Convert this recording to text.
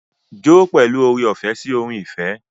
Jó pẹ̀lú oore-ọ̀fẹ́ sí orin ìfẹ́.